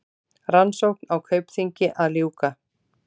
Rannsókn á Kaupþingi að ljúka